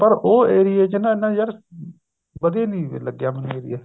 ਪਰ ਉਹ area ਚ ਨਾ ਇੰਨਾ ਯਾਰ ਵਧੀਆ ਨੀ ਲੱਗਿਆ ਮੈਨੂੰ area